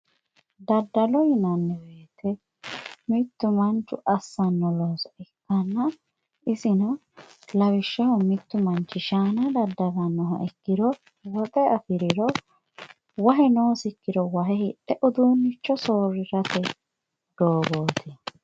daddalo yinanni woyiite mittu manchu assanno looso ikkanno isino lawishshaho mittu manchi shaana daddalannoha ikkiro woxe afiriro wahe noosikkiro wahe hidhe uduunnicho soorrirate doogooti